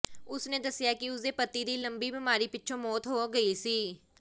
ਉਸ ਨੇ ਦੱਸਿਆ ਕਿ ਉਸ ਦੇ ਪਤੀ ਦੀ ਲੰਮੀ ਬਿਮਾਰੀ ਪਿੱਛੋਂ ਮੌਤ ਹੋ ਗਈ ਸੀ